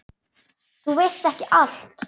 Þú veist ekki allt.